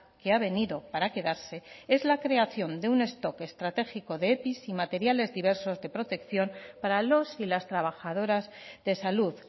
que ha venido para quedarse es la creación de un stock estratégico de epi y materiales diversos de protección para los y las trabajadoras de salud